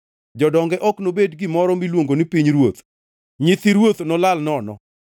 Jodonge ok nobed gi gimoro miluongo ni pinyruoth, nyithi ruoth nolal nono.